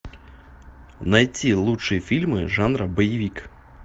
найти лучшие фильмы жанра боевик